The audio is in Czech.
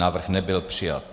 Návrh nebyl přijat.